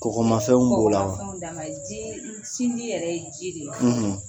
Kɔgɔmafɛn b'o la ji sinji yɛrɛ ye jii de ye